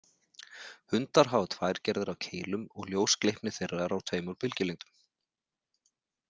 Hundar hafa tvær gerðir af keilum og ljósgleypni þeirra er á tveimur bylgjulengdum.